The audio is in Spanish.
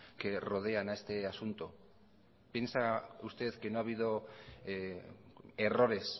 que rodean a este asunto piensa usted que no ha habido errores